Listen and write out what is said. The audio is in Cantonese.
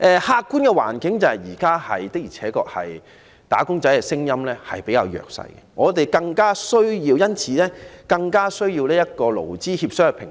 客觀的環境是，現時"打工仔"的聲音的確比較弱，我們因而更需要一個勞資協商的平台。